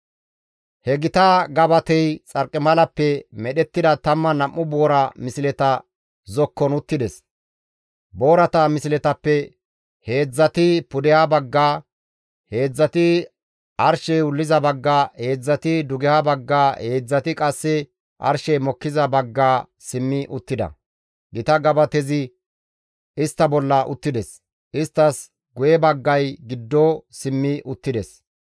He gita gabatey xarqimalappe medhettida 12 boora misleta zokkon uttides; boorata misletappe heedzdzati pudeha bagga, heedzdzati arshey wulliza bagga, heedzdzati dugeha bagga, heedzdzati qasse arshey mokkiza bagga simmi uttida; gita gabatezi istta bolla uttides; isttas guye baggay giddo simmi uttides.